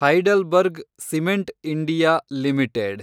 Heidelberg cement India limited